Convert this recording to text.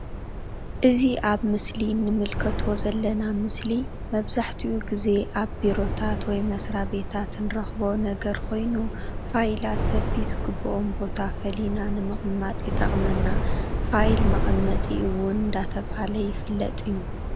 እዚ ኣብ ምስሊ እንምልከቶ ዘለና ምስሊ መብዛሕኡ ግዚ ኣብ ቤሮታት ወይ መስራቤታት ንረክቦ ነገር ኮይኑ ፋይላት በቢ ዝግብኦም ቦታ ፈሊና ንምቅማጥ ይጠቅመና። ፋይል መቀመጢ እውን ዳተብሃለ ይፍለጥ እዩ።